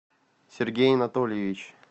сергей анатольевич